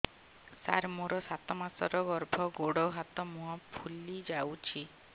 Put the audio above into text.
ସାର ମୋର ସାତ ମାସର ଗର୍ଭ ଗୋଡ଼ ହାତ ମୁହଁ ଫୁଲି ଯାଉଛି